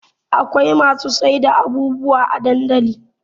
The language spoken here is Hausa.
Akwai masu sayar da abubuwa a dandali